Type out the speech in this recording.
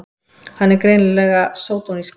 Hann er greinilega sódónískur!